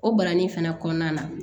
O barani fɛnɛ kɔnɔna na